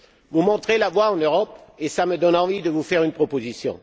Vous montrez la voie en Europe et ça me donne envie de vous faire une proposition.